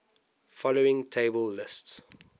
following table lists